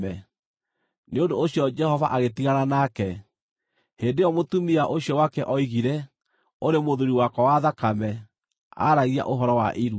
Nĩ ũndũ ũcio Jehova agĩtigana nake. (Hĩndĩ ĩyo mũtumia ũcio wake oigire “ũrĩ mũthuuri wakwa wa thakame” aaragia ũhoro wa irua.)